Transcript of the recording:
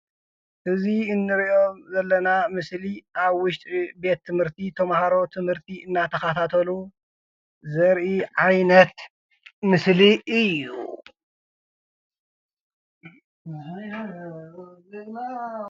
እዚ እንሪኦ ዘለና ምስሊ አብ ውሽጢ ቤት ትምህርቲ ተማሃሮ ትምህርቲ እናተኻታተሉ ዘሪኢ ዓይነት ምስሊ እዩ፡፡